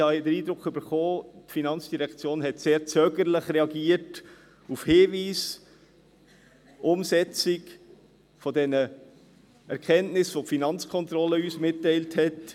Ich habe ja den Eindruck bekommen, die FIN habe sehr zögerlich auf Hinweise zur Umsetzung dieser Erkenntnisse reagiert, welche die FK uns mitgeteilt hat.